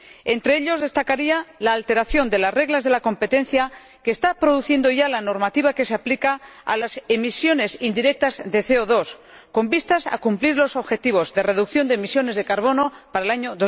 Entre ellos, destacaría la alteración de las reglas de la competencia que está produciendo ya la normativa que se aplica a las emisiones indirectas de CO 2 con vistas a cumplir los objetivos de reducción de emisiones de carbono para el año